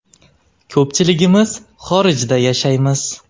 Ko‘pchiligimiz xorijda yashaymiz.